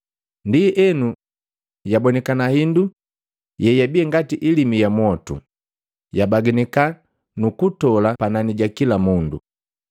Ndienu, yabonikana hindu yeyabi ngati ilimi ya mwotu, yabaganika nukutola panani ja kila mundu.